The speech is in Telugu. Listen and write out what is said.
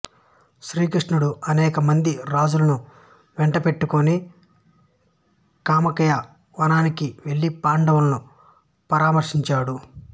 శ్రీకృష్ణుడు అనేక మంది రాజులను వెంట పెట్టుకుని కామ్యక వనానికి వెళ్ళి పాండవులను పరామర్శించాడు